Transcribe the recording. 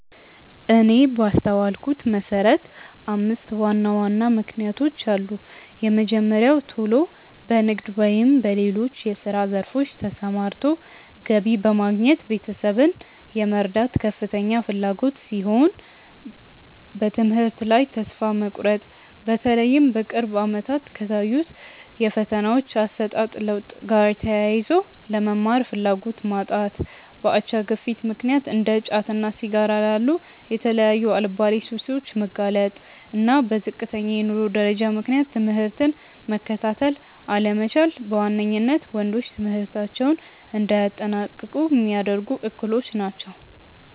እኔ ባስተዋልኩት መሰረት አምስት ዋና ዋና ምክንያቶች አሉ። የመጀመሪያው ቶሎ በንግድ ወይም በሌሎች የስራ ዘርፎች ተሰማርቶ ገቢ በማግኘት ቤተሰብን የመርዳት ከፍተኛ ፍላጎት ሲሆን፤ በትምህርት ላይ ተስፋ መቁረጥ(በተለይም በቅርብ አመታት ከታዩት የፈተናዎች አሰጣጥ ለውጥ ጋር ተያይዞ)፣ ለመማር ፍላጎት ማጣት፣ በአቻ ግፊት ምክንያት እንደ ጫትና ሲጋራ ላሉ የተለያዩ አልባሌ ሱሶች መጋለጥ፣ እና በዝቅተኛ የኑሮ ደረጃ ምክንያት ትምህርትን መከታተል አለመቻል በዋነኝነት ወንዶች ትምህርታቸውን እንዳያጠናቅቁ ሚያደርጉ እክሎች ናቸው።